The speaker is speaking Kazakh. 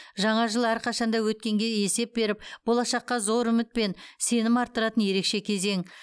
жаңа жыл әрқашан да өткенге есеп беріп болашаққа зор үміт пен сенім арттыратын ерекше кезең